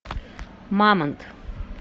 мамонт